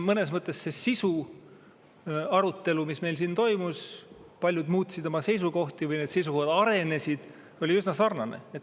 Mõnes mõttes see arutelu, mis meil siin toimus – paljud muutsid oma seisukohti või need seisukohad arenesid –, oli üsna sarnane.